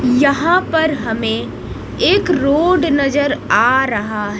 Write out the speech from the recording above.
यहां पर हमें एक रोड नजर आ रहा--